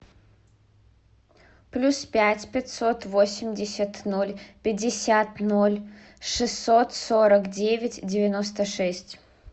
плюс пять пятьсот восемьдесят ноль пятьдесят ноль шестьсот сорок девять девяносто шесть